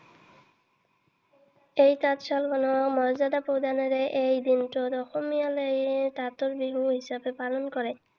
এই তাঁতশালৰ মৰ্য্যাদা প্ৰদানেৰে এই দিনটোত অসমীয়া সকলে তাঁতৰ বিহু হিচাপে পালন কৰে।